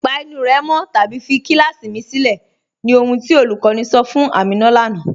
Pa ènù rẹ́ mọ̀ tàbí fí kílàsí mì sìlẹ̀, ní ohun tí olúkọ̀ní sọ̀ fún Àmínà lánà.